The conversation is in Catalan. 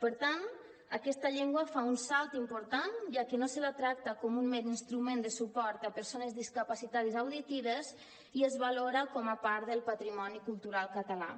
per tant aquesta llengua fa un salt important ja que no se la tracta com un mer instrument de suport a persones discapacitades auditives i es valora com a part del patrimoni cultural català